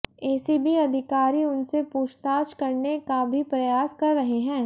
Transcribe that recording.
ACB अधिकारी उनसे पूछताछ करने का भी प्रयास कर रहे हैं